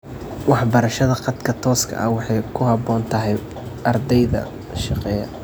Waxbarashada khadka tooska ah waxay ku habboon tahay ardayda shaqeeya.